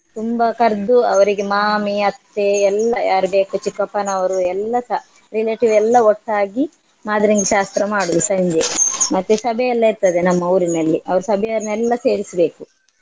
ತುಂಬಾ ಕರ್ದು ಅವ್ರಿಗೆ ಮಾಮಿ ಅತ್ತೆ ಎಲ್ಲಾ ಯಾರ್ ಬೇಕು ಚಿಕ್ಕಪ್ಪನವರು ಎಲ್ಲಸ relative ಎಲ್ಲ ಒಟ್ಟಾಗಿ ಮಾದ್ರೆಂಗಿ ಶಾಸ್ತ್ರ ಮಾಡುದು ಸಂಜೆ ಮತ್ತೆ ಸಭೆ ಎಲ್ಲ ಇರ್ತದೆ ನಮ್ಮ ಊರಿನಲ್ಲಿ ಅವ್ರು ಸಭೆಯನ್ನೆಲ್ಲ ಸೇರಿಸ್ಬೇಕು.